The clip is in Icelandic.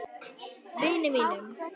Vini mínum!